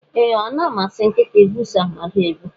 E, Ọ na amasi nkịta igwusa mmadụ egwu.